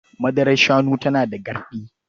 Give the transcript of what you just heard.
Madarar shanu tana da garɗi.